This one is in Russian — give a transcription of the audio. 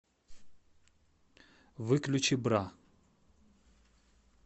выключи бра